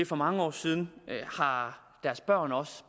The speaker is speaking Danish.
for mange år siden har